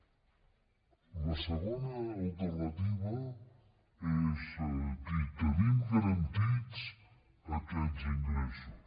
la segona alternativa és dir tenim garantits aquests ingressos